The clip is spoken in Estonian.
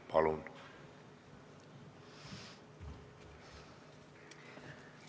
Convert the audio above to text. Palun!